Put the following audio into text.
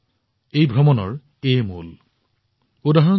সকলো বৈষম্যৰ ঊৰ্ধলৈ গৈ ভ্ৰমণেই সৰ্বোপৰি হৈ পৰে